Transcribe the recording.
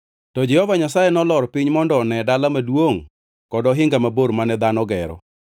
To Jehova Nyasaye nolor piny mondo one dala maduongʼ kod ohinga mabor mane dhano gero.